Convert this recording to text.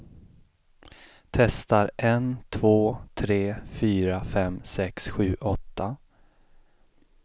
Testar en två tre fyra fem sex sju åtta.